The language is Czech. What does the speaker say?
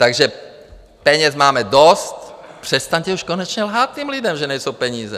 Takže peněz máme dost, přestaňte už konečně lhát těm lidem, že nejsou peníze.